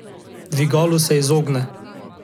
Dvigalu se izogne.